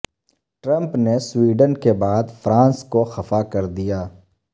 Trump نے Sweden کے بعد فرانس کو خفا کر دیا